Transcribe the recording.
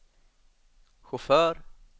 chaufför